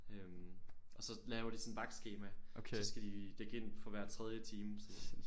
Øh og så laver de sådan et vagtskema så skal de dække ind for hver tredje time så